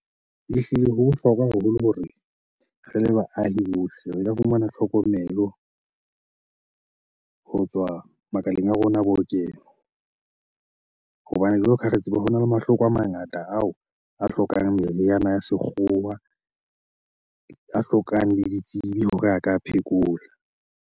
Ehlile ho bohlokwa haholo hore re le baahi bohle re ka fumana tlhokomelo ho tswa makaleng a rona a bookelo. Hobane jwalo ka ha re tseba hona le mahloko a mangata ao a hlokang meriana ya sekgowa, a hlokang le ditsebi hore a ka a phekola.